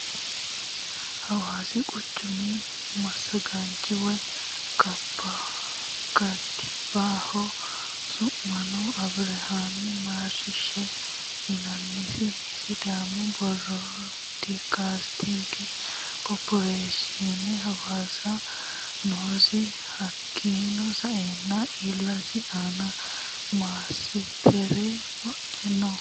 Hawassi quchumi masagaanchoti woyi katibbaho su'misino abirihami marishahe yinannisi sidàamu birodikasitige koripireeshiine hassawisani noosi hakiino sa'eena illesi aana manatsire wodhe no.